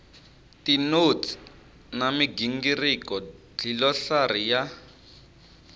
tinotsi na migingiriko dlilosari ya